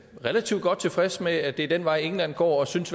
relativt godt tilfreds med at det er den vej england går og synes